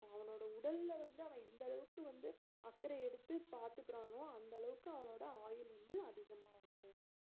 அவனோட உடல வந்து அவன் எந்த அளவுக்கு வந்து அக்கறை எடுத்து பாத்துக்கறானோ அந்த அளவுக்கு அவனோட ஆயுள் வந்து அதிகமா இருக்கும்